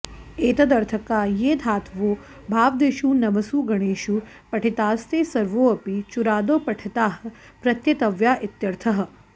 एतदर्थका ये धातवो भ्वादिषु नवसु गणेषु पठितास्ते सर्वेऽपि चुरादौ पठिताः प्रत्येतव्या इत्यर्थः